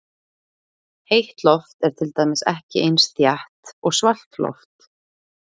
Heitt loft er til dæmis ekki eins þétt og svalt loft.